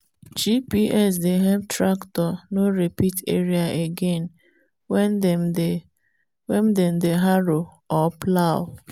gps dey help tractor no repeat area again when dem dey when dem dey harrow or plough.